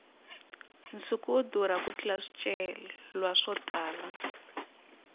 nsuku wu durha ku tlurisa swicelwa swo tala